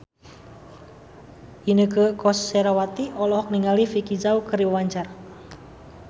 Inneke Koesherawati olohok ningali Vicki Zao keur diwawancara